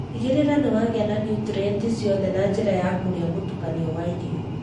Tigĩrĩra nĩ wagĩa na niutrienti ciothe na njĩra ya kũrĩa mũtukanio wa irio.